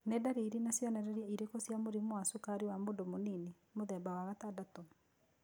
Nĩ ndariri na cionereria irĩkũ cia mũrimũ wa cukari wa mũndũ mũnini, mũthemba wa gatandatũ?